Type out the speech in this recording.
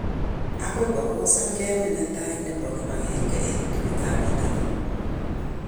Akoi ko kosan gemit netai nebo kibagenge eng ligit ab bitonin